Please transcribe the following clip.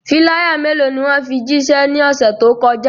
Filaya melo ni wọn fi jiṣẹ ni ọse to kọja?